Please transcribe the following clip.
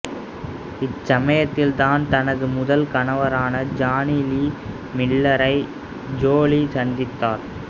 இச்சமயத்தில் தான் தனது முதல் கணவரான ஜானி லீ மில்லரை ஜோலி சந்தித்தார்